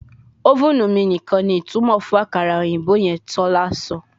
Ovenu mi nikan ni itumọ fun akara oyinbo yan, tola sọ